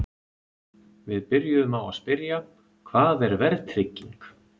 Við byrjuðum á að spyrja: Hvað er verðtrygging?